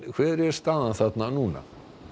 hver er staðan þarna núna